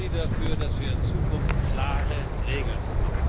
Sorgen Sie dafür, dass wir in Zukunft klare Regeln bekommen!